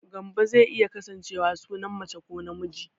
Gambo zai iya kasancewa sunan mace ko namiji